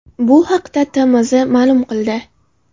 Bu haqda TMZ ma’lum qildi .